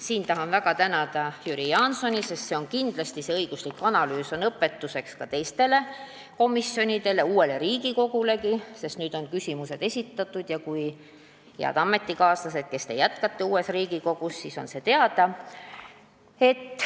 Siinkohal tahan väga tänada Jüri Jaansoni, sest kindlasti on see õiguslik analüüs õpetuseks ka teistele komisjonidele – uuele Riigikogulegi –, sest nüüd on küsimused esitatud ja teile, head ametikaaslased, kes te jätkate uues Riigikogus, on see teada.